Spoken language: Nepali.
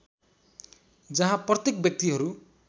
जहाँ प्रत्येक व्यक्तिहरू